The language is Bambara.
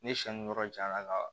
Ne siɲɛ ni yɔrɔ jaɲa la ka